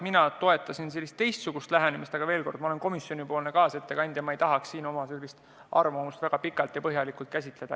Mina toetasin teistsugust lähenemist, aga veel kord: ma olen komisjonipoolne kaasettekandja, ma ei tahaks siin oma arvamust väga pikalt ja põhjalikult käsitleda.